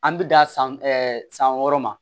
An bɛ dan san san wɔɔrɔ ma